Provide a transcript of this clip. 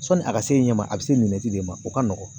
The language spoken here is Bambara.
Sɔni a ka se ɲɛ ma a bɛ se de ma o ka nɔgɔn